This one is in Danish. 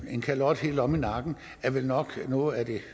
en kalot helt omme i nakken vel nok er noget af det